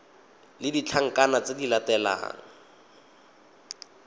le ditlankana tse di latelang